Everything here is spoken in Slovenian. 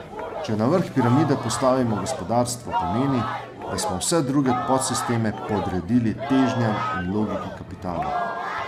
Če na vrh piramide postavimo gospodarstvo, pomeni, da smo vse druge podsisteme podredili težnjam in logiki kapitala.